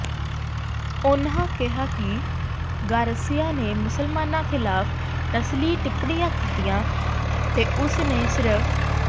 ਉਨ੍ਹਾਂ ਕਿਹਾ ਕਿ ਗਾਰਸੀਆ ਨੇ ਮੁਸਲਮਾਨਾਂ ਖਿਲਾਫ਼ ਨਸਲੀ ਟਿੱਪਣੀਆਂ ਕੀਤੀਆਂ ਤੇ ਉਸ ਨੇ ਸ੍ਰ